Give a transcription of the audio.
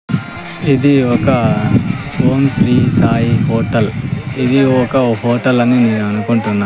ఇది ఒక ఓం శ్రీ సాయి హోటల్ ఇది ఒక హోటల్ అని నేను అనుకుంటున్నా.